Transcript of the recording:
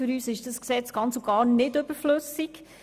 Für uns ist es ganz und gar nicht überflüssig.